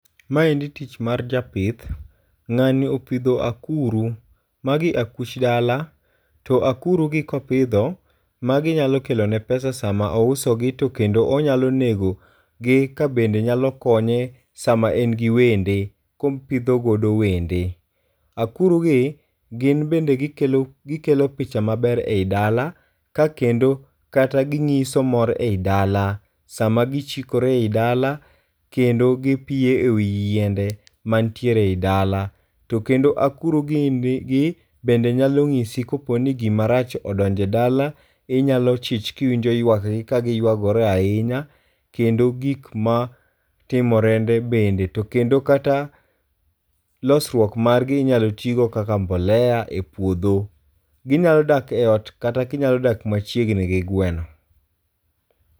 Maeind tich mar japith. Ng'ani opidho akuru. Magi akuch dala. To akuru gi kopidho magi nyalo kelo ne pesa sama ouso gi to kendo onyalo nego gi ka bende nyalo konye sama en gi wende kopidho godo wende. Akuru gi gi bende gikelo picha maber ei dala ka kendo kata ginyiso mor e yi dala. Sama gichikore e yi dala kendo gipiyo e wi yiende mantiere e yi dala. To kendo akuri gi bende nyalo nyisi kopo ni gima rach odonjo e yi dala. Inyalo chich ka iwinjo ywak gi ka giyuagore ahinya kendo gik matimorende bende. To kendo kata losruok margi enyal tigo kaka mbolea e puodho. Ginyalo dak e ot kata ginyalo dak machiegni gi gweno.